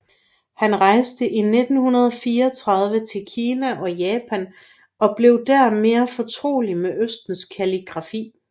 Han rejste i 1934 til Kina og Japan og blev der mere fortrolig med Østens kalligrafi